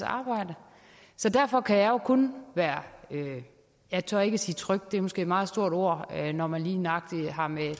arbejde derfor kan jeg jo kun være jeg tør ikke sige tryg det er måske et meget stort ord når man lige nøjagtig har med